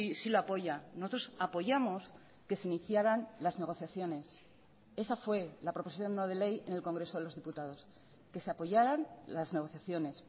sí lo apoya nosotros apoyamos que se iniciaran las negociaciones esa fue la proposición no de ley en el congreso de los diputados que se apoyaran las negociaciones